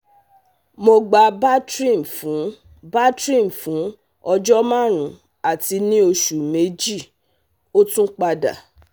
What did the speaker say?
Mo gba Bactrim fun Bactrim fun ọjọ marun, ati ni oṣu meji, o tun pada